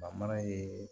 ye